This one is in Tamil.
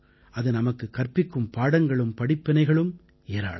அது நமக்குக் கற்பிக்கும் பாடங்களும் படிப்பினைகளும் ஏராளம்